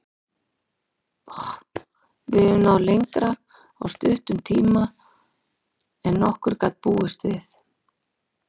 Við höfum náð lengra á stuttum tíma en nokkur gat búist við.